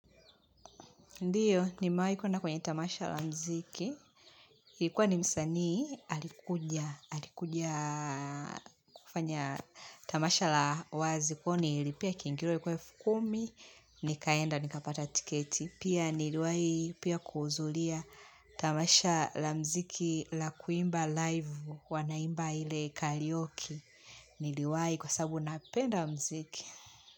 Ndiyo, nimewahi kuenda kwenye tamasha la mziki. Ilikuwa ni msaani, alikuja, alikuja kufanya tamasha la wazi. Kwa hiyo nililipia kiingilo, ilikuwa elfu kumi, nikaenda, nikapata tiketi. Pia niliwahi pia kuhudhuria tamasha la mziki la kuimba live wanaimba ile karaoke. Niliwahi kwa sababu napenda mziki.